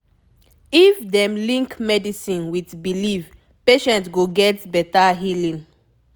if dem link medicine with belief patient go get better healing